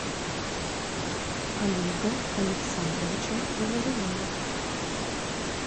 олега александровича головина